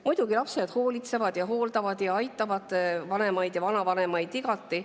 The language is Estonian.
Muidugi, lapsed hoolitsevad, hooldavad ja aitavad vanemaid ja vanavanemaid igati.